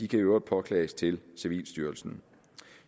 kan i øvrigt påklages til civilstyrelsen